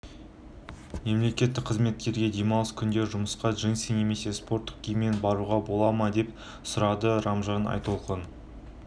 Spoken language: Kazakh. мемлекеттік қызметкерге демалыс күндері жұмысқа джинсы немесе спорттық киіммен баруға бола ма деп сұрады ражман айтолқын